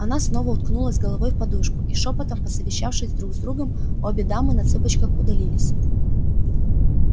она снова уткнулась головой в подушку и шёпотом посовещавшись друг с другом обе дамы на цыпочках удалились